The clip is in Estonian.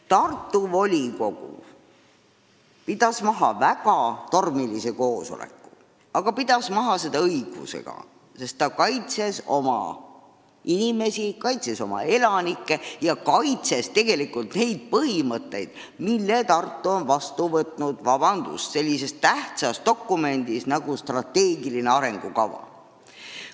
Tartu volikogu pidas maha väga tormilise koosoleku, ja pidas selle maha õigusega, sest ta kaitses oma inimesi, oma elanikke ja kaitses ka neid põhimõtteid, mis Tartu on heaks kiitnud sellises tähtsas dokumendis nagu strateegiline arengukava.